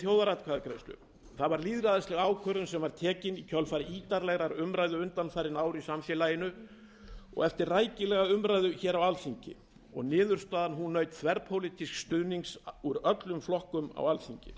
þjóðaratkvæðagreiðslu það var lýðræðisleg ákvörðun sem var tekin í kjölfar ítarlegrar umræðu undanfarin ár í samfélaginu og eftir rækilega umræðu á alþingi niðurstaðan naut þverpólitísks stuðnings úr öllum flokkum á alþingi